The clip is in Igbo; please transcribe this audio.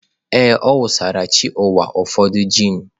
Ee, ọ wụsara chi ụwa ụfọdụ gin.